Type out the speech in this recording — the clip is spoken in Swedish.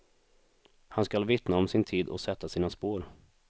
Han skall vittna om sin tid och sätta sina spår.